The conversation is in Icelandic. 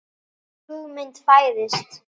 Hugmynd fæðist.